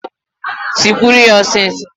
Tikwuru ya ọsịsọ!